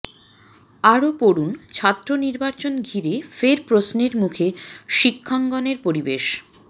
আরও পড়ুন ছাত্র নির্বাচন ঘিরে ফের প্রশ্নের মুখে শিক্ষাঙ্গনের পরিবেশ